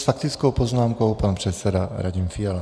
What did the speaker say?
S faktickou poznámkou pan předseda Radim Fiala.